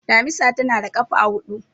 damisa tana da kafa hudu